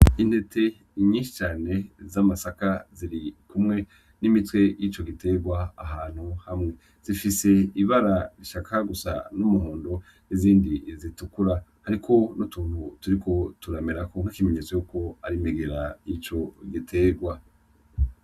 Intete nyinshi cane z'amasaka ziri kumwe n'imitwe yico gitegwa ahantu hamwe . zifise ibara rishaka gusa, n'umuhondo, n'izindi zitukura .Hariko n'utuntu turiko turamerako nk'ikimeneytso yukwo ar'imigera yico gitegwa.